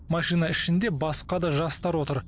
машина ішінде басқа да жастар отыр